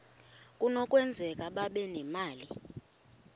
kunokwenzeka babe nemali